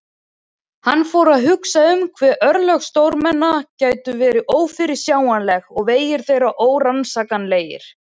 Hann fór að hugsa um hve örlög stórmenna gætu verið ófyrirsjáanleg og vegir þeirra órannsakanlegir.